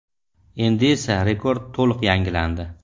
Endi esa rekord to‘liq yangilandi.